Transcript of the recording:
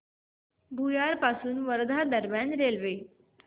भुयार पासून वर्धा दरम्यान रेल्वे